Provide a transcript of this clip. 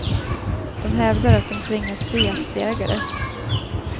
De hävdar att de tvingas bli aktieägare.